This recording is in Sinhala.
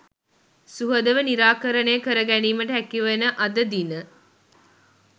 සුහදව නිරාකරණය කරගැනීමට හැකිවන අද දින